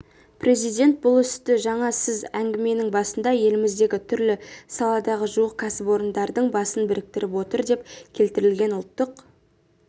президент бұл істі жаңа сіз әңгіменің басында еліміздегі түрлі саладағы жуық кәсіпорындардың басын біріктіріп отыр деп келтірген ұлттық